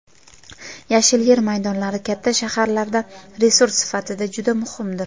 Yashil yer maydonlari katta shaharlarda resurs sifatida juda muhimdir.